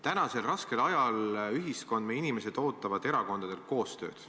Tänasel raskel ajal ootavad ühiskond ja inimesed erakondadelt koostööd.